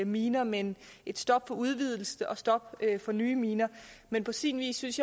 miner men et stop for udvidelse og et stop for nye miner men på sin vis synes